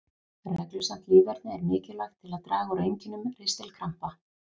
Reglusamt líferni er mikilvægt til að draga úr einkennum ristilkrampa.